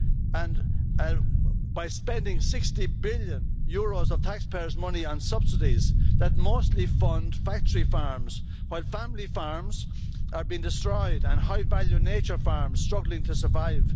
and by spending EUR 60 billion of taxpayers' money on subsidies that mostly fund factory farms, while family farms are being destroyed and high nature value farms are struggling to survive.